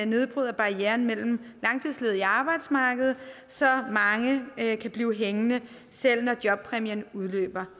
nedbryder barriererne mellem langtidsledige og arbejdsmarkedet så mange kan blive hængende selv når jobpræmien udløber